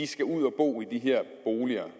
skal ud at bo i de her boliger